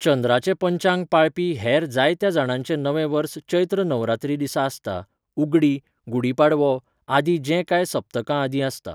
चंद्राचें पंचांग पाळपी हेर जायत्या जाणांचें नवें वर्स चैत्र नवरात्री दिसा आसता, उगडी, गुडी पाडवो आदी, जें कांय सप्तकां आदीं आसता.